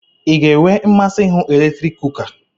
I ga-enwe mmasị ihu eletrik kuka?